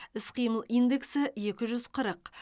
іс қимыл индексі екі жүз қырық